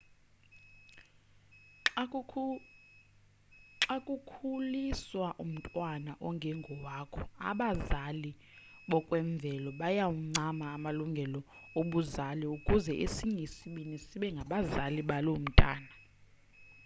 xa kukhuliswa umntwana ongengowakho abazali bokwemvelo bayawancama amalungelo obuzali ukuze esinye isibini sibe ngabazali baloo mntwana